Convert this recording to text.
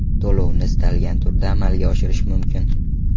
To‘lovni istalgan turda amalga oshirish mumkin.